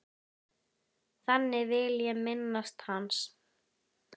Þannig vil ég minnast hans.